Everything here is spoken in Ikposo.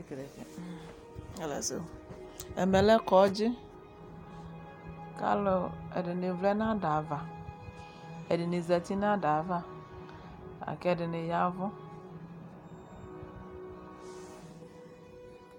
Ɛmɛ lɛ kɔdzi Kʋ alʋ, ɛdini vlɛ nʋ ada ava Ɛdini zati nʋ ada yɛ ava la kʋ ɛdini yavʋ